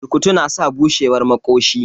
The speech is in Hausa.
Burkutu na sa bushewar maƙoshi